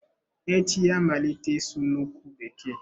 Echi ya-amalite ịsụ nnukwu bekee.